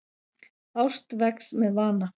Ást vex með vana.